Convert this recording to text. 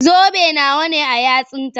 Zobe nawa ne a yatsunta?